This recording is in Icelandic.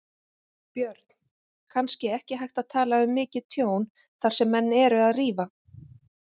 Björn: Kannski ekki hægt að tala um mikið tjón þar sem menn eru að rífa?